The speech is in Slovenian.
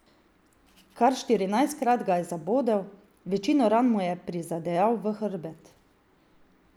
Kar štirinajstkrat ga je zabodel, večino ran mu je prizadejal v hrbet.